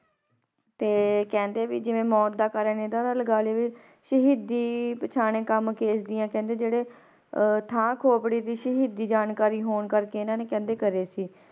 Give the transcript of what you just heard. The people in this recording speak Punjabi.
ਤੇ ਕਹਿੰਦੇ ਵੀ ਜਿਵੇਂ ਮੌਤ ਦਾ ਕਾਰਨ ਇਹਨਾਂ ਦਾ ਲਗਾ ਲਈਏ ਵੀ ਸ਼ਹੀਦੀ ਪਛਾਣੇ ਕੰਮ ਕੇਸ਼ ਦੀਆਂ ਕਹਿੰਦੇ ਜਿਹੜੇ ਅਹ ਥਾਂ ਖੋਪੜੀ ਦੀ ਸ਼ਹੀਦੀ ਜਾਣਕਾਰੀ ਹੋਣ ਕਰਕੇ ਇਹਨਾਂ ਨੇ ਕਹਿੰਦੇ ਕਰੇ ਸੀ।